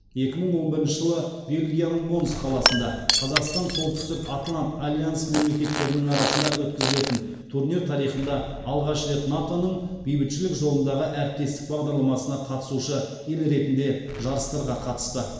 екі мың он бірінші жылы бельгияның монс қаласында қазақстан солтүстік атлант альянсы мемлекеттерінің арасында өткізілетін турнир тарихында алғаш рет нато ның бейбітшілік жолындағы әріптестік бағдарламасына қатысушы ел ретінде жарыстарға қатысты